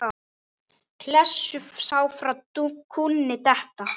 sagði ég þá.